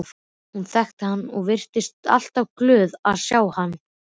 Hún þekkti hann og virtist alltaf glöð að sjá hann.